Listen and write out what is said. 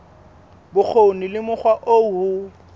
bokgoni le mokgwa oo ho